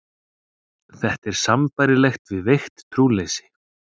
Þetta er sambærilegt við veikt trúleysi.